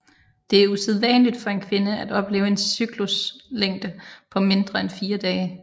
Det er usædvanligt for en kvinde at opleve en cykluslængde på mindre end fire dage